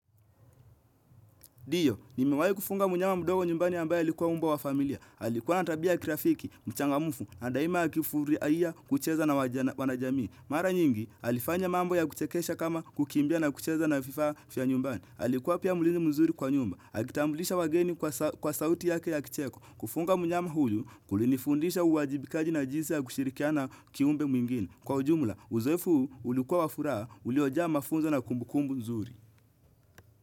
Ndiyo, nimewahi kufuga mnyama mdogo nyumbani ambaye alikuwa umbwa wa familia. Alikuwa na tabia ya kirafiki, mchangamfu na daima akifurahia kucheza na wanajamii. Mara nyingi, alifanya mambo ya kuchekesha kama, kukimbia na kucheza na vifaa vya nyumbani. Alikuwa pia mlinzi mzuri kwa nyumba. Akitambulisha wageni kwa sauti yake ya kicheko. Kufuga mnyama huyu, kulinifundisha uwajibikaji na jinsi ya kushirikia na kiumbe mwingine. Kwa ujumla, uzoefu ulikuwa wa furaha, uliojaa mafunzo na kumbukumbu nzuri.